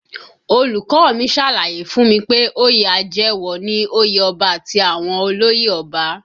Olùkọ́ ọ mi ṣàlàyé fún mi pé oyè àjẹwọ̀ ni òye ọba àti àwọn olóyè ọba